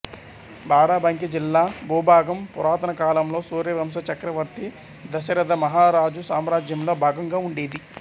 బారాబంకీ జిల్లా భూభాగం పురాతనకాలంలో సూర్యవంశ చక్రవర్తి దశరథమహారాజు సామ్రాజ్యంలో భాగంగా ఉండేది